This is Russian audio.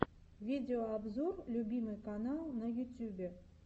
видеообзор любимый канал на ютьюбе